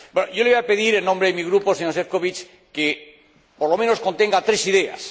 Yo le voy a pedir en nombre de mi grupo, señor Šefčovič, que, por lo menos, contenga tres ideas.